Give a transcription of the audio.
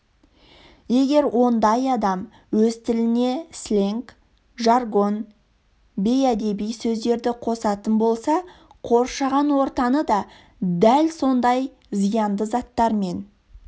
егер ондай адам өз тіліне слэнг жаргон бейәдеби сөздерді қосатын болса қоршаған ортаны да дәл сондай зиянды заттармен